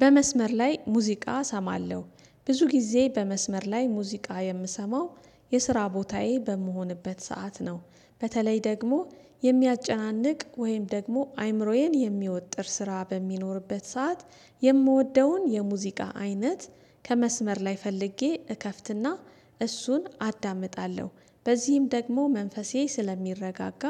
በመስመር ላይ ሙዚቃ እሰማለሁ ብዙ ጊዜ በመስመር ላይ ሙዚቃ የምሰማው የስራ ቦታዬ በምሆንበት ሰዓት ነው። በተለይ ደግሞ የሚያጨናንቅ ወይም ደግሞ አይምሮዬን የሚወጥር ስራ በሚኖርበት ሰዓት የምወደውን የሙዚቃ አይነት ከመስመር ላይ ፈልጌ እከፍትና እሱን አዳምጣለሁ። በዚህም ደግሞ መንፈሴ ስለሚረጋጋ